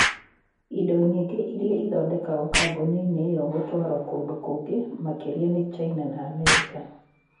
Indo nyingĩ iria ithondekagwo kambuni-inĩ ĩyo gũtwarũo kũndũ kũngĩ makĩria nĩ China na Amerika.